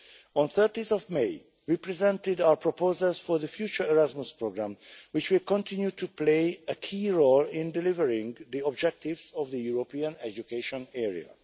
On 30 May, we presented our proposals for the future Erasmus programme, which will continue to play a key role in delivering the objectives of the European education